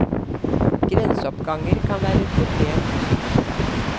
Grenseoppganger kan være et problem i psykoterapi.